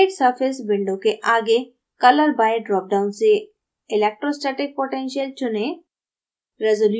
create surface window के आगे: color by dropdown से electrostatic potential चुनें